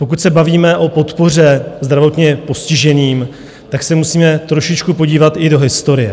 Pokud se bavíme o podpoře zdravotně postiženým, tak se musíme trošičku podívat i do historie.